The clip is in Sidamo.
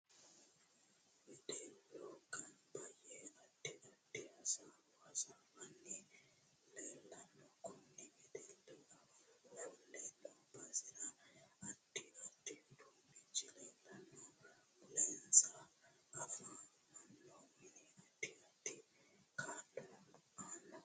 Wedellu ganba yee addi addi hasaawo hasaawanni leelanno kunni wedelli ofolle noo basera addi addi uduunichi leelanno mulensa afamanno mini addi addi kaa'lo aanno